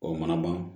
O mana ban